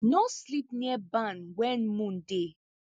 no sleep near barn when moon dey